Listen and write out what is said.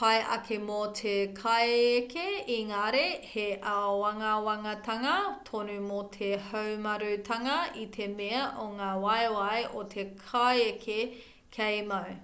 pai ake mō te kaieke ēngari he āwangawangatanga tonu mō te haumarutanga i te mea o ngā waewae o te kaieke kei mau